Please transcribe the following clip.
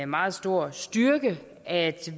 meget stor styrke at